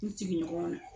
U sigiɲɔgɔnw na